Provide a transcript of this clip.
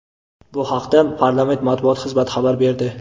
Bu haqda parlament Matbuot xizmati xabar berdi.